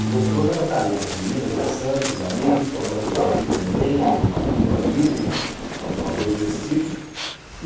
O gostoso era estar ali, com as meninas dançando, com os amigos, tomando um Peeperman, uma Cuba Livre, alguma coisa desse tipo.